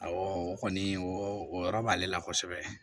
o kɔni o yɔrɔ b'ale la kosɛbɛ